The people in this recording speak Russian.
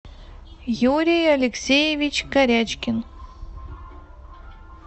юрий алексеевич корячкин